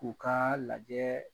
U Ka lajɛ